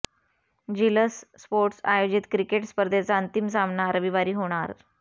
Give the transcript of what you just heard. झिलस sports आयोजित क्रिकेट स्पर्धेचा अंतिम सामना रविवारी होणार